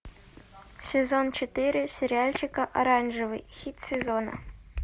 сезон четыре сериальчика оранжевый хит сезона